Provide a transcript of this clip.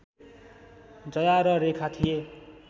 जया र रेखा थिए